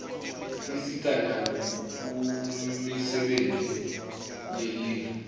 tisisita nakumisebenti yelive